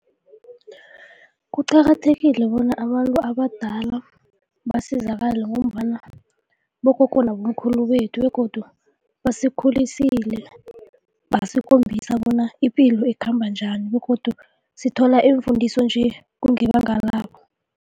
Kuqakathekile bona abantu abadala basizakala ngombana bogogo nabomkhulu bethu begodu basikhulisile, basikhombisa bona ipilo ikhamba njani begodu sithola iimfundiso nje, kungebanga labo.